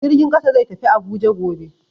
Jirgin kasa zai tafi Abuja gobe.